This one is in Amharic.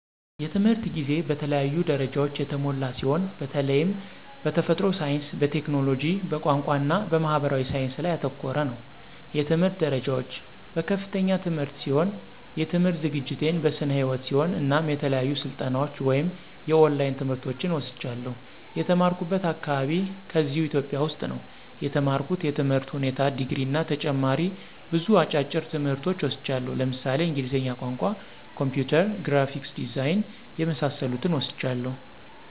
የትምህርት ጊዜ በተለያዩ ደረጃዎች የተሞላ ሲሆን በተላይም በተፈጥሮ ሳይንስ፣ በቴክኖሎጂ፣ በቋንቋ እና በማህበራዊ ሳይንስ ላይ ያተኮረ ነው። የትምህርት ደረጃዎች፦ በከፍተኛ ትምህርት ሲሆን የትምህርት ዝግጅቴን በስነ ህይወት ሲሆን እናም የተለያዩ ስልጠናዎች ወይም የኦላይን ትምህርቶችን ወስጃለሁ። የተማራኩበት አካባቢ ከዚህው ኢትዮጵያ ውስጥ ነው የተማርኩት የትምህር ሁኔታ ድግሪ እና ተጨማሪ ብዙ አጫጭር ትምህርቶች ወስጃለሁ ለምሳሌ እንግሊዝኛ ቋንቋ፣ ኮምፒውተር፣ ግራፊክስ ዲዛይን የመሳሰሉትን ወስጃለሁ።